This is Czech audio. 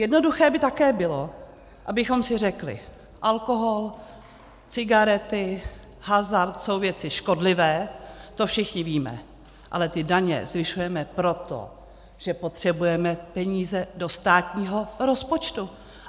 Jednoduché by také bylo, abychom si řekli: alkohol, cigarety, hazard jsou věci škodlivé, to všichni víme, ale ty daně zvyšujeme proto, že potřebujeme peníze do státního rozpočtu.